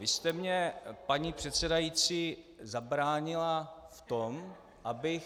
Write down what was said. Vy jste mně, paní předsedající, zabránila v tom, abych...